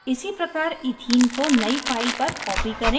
इसी प्रकार ethene को नयी file पर copy करें